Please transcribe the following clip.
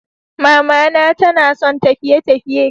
Mamana tanasan tafiye_tafiye.